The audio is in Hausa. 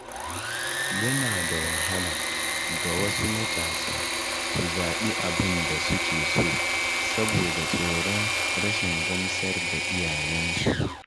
Yana da wahala ga wasu matasa su zaɓi abin da suke so saboda tsoron rashin gamsar da iyayensu.